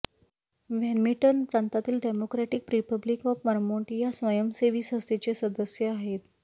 व्हॅन्मिटन प्रांतातील democratic republic of Vermont या स्वयंसेवी संस्थेचे सदस्य आहेत